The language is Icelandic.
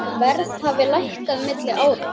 Verð hafi lækkað milli ára.